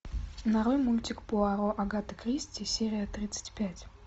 нарой мультик пуаро агаты кристи серия тридцать пять